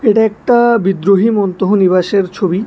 এটা একটা বিদ্রোহী মন্তহ নিবাসের ছবি।